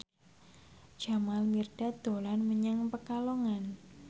Jamal Mirdad dolan menyang Pekalongan